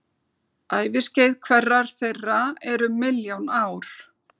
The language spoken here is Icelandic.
Æviskeið hverrar þeirra er um milljón ár.